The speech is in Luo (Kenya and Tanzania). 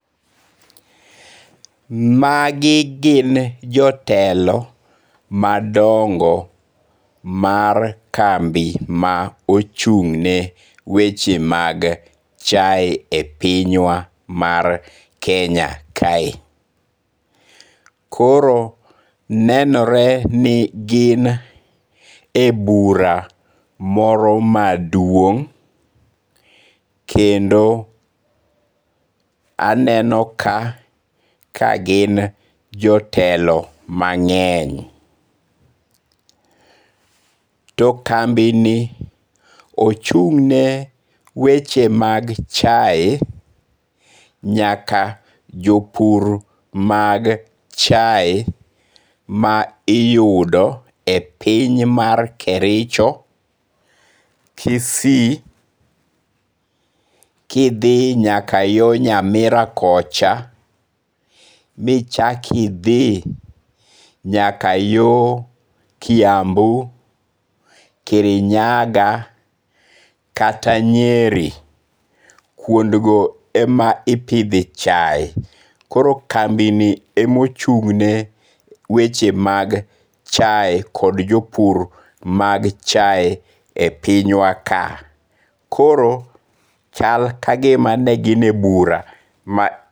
Magi gin jotelo madongo mar kambi ma ochung' ne weche mag chae e pinywa mar Kenya kae. Koro nenore ni gin e bura moro maduong' kendo aneno ka gin jotelo mang'eny. To kambi ni ochung' ne weche mag chae nyaka jopur mag chae ma iyudo e piny mar Kericho, Kisii, kidhi nyaka yo Nyamira kocha, michak idhi nyaka yo Kiambu, Kirinyaga, kata Nyeri. Kuondgo ema ipidhe chae. Koro kambi ni emochung' ne weche mag chae kod jopur mag chae e piny wa ka. Koro chal ka gima ne gin e bura.